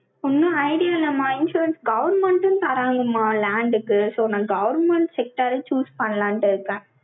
ஒண்ணும் idea இல்லம்மா, insurance government ம் தராங்கம்மா, land க்கு. so நான் government sector choose பண்ணலான்ட்டு இருக்கேன்.